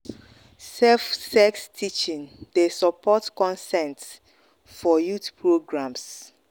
safe sex teaching dey support consent for youth programs.